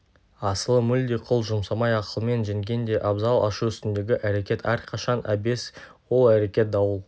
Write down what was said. асылы мүлде қол жұмсамай ақылмен жеңген де абзал ашу үстіндегі әрекет әрқашан әбес ол әрекет дауыл